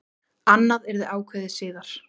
Annað yrði ákveðið síðar.